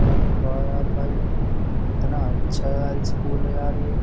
अरे वाह यार भाई कितना अच्छा यार स्कूल है यार ये।